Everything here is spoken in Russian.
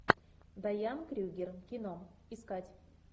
дайан крюгер кино искать